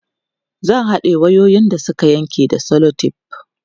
zai haɗa wayoyin da Suka Yanke da selotef